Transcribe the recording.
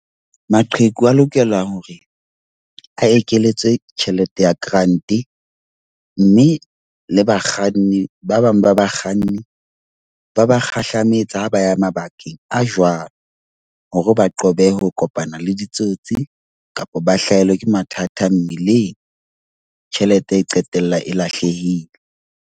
Maqheku a lokela hore a ekeletswe tjhelete ya grant. Mme le bakganni, ba bang ba bakganni ba ba kgahlametsa ha ba ya mabakeng a jwalo. Hore ba qobe ho kopana le ditsotsi kapa ba hlahelwa ke mathata mmileng, tjhelete e qetella e lahlehile.